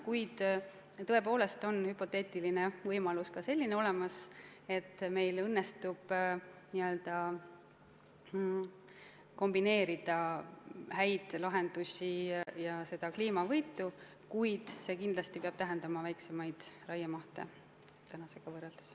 Kuid tõepoolest on ka selline hüpoteetiline võimalus olemas, et meil õnnestub kombineerida häid lahendusi ja kliimavõitu, kuid see kindlasti peab tähendama tänasega võrreldes väiksemaid raiemahte.